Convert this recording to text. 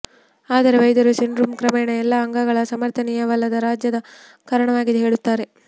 ಆದರೆ ವೈದ್ಯರು ಸಿಂಡ್ರೋಮ್ ಕ್ರಮೇಣ ಎಲ್ಲ ಅಂಗಗಳ ಸಮರ್ಥನೀಯವಲ್ಲದ ರಾಜ್ಯದ ಕಾರಣವಾಗಿದೆ ಹೇಳುತ್ತಾರೆ